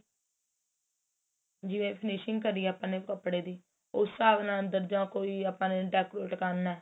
ਜਿਵੇਂ finishing ਕਰੀ ਏ ਆਪਾਂ ਨੇ ਕਪੜੇ ਦੀ ਉਸ ਹਿਸਾਬ ਨਾਲ ਦਰਜਾ ਕੋਈ ਆਪਾਂ ਨੇ decorate ਕਰਨਾ